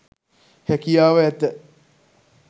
හැකියාව ඇත.